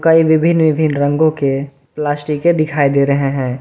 कई विभिन्न विभिन्न रंगों के प्लास्टिके दिखाई दे रहे हैं।